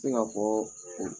Se k'a fɔɔ o